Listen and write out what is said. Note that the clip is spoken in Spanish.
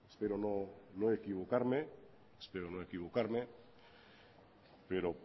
espero no equivocarme pero